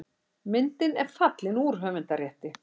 Myndin er fallin úr höfundarrétti.